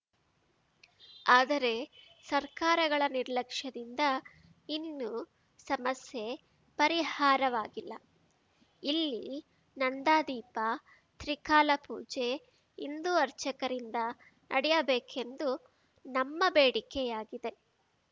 ಆದರೆ ಸರ್ಕಾರಗಳ ನಿರ್ಲಕ್ಷದಿಂದ ಇನ್ನೂ ಸಮಸ್ಯೆ ಪರಿಹಾರವಾಗಿಲ್ಲ ಇಲ್ಲಿ ನಂದಾದೀಪ ತ್ರಿಕಾಲ ಪೂಜೆ ಹಿಂದೂ ಅರ್ಚಕರಿಂದ ನಡೆಯಬೇಕೆಂದು ನಮ್ಮ ಬೇಡಿಕೆಯಾಗಿದೆ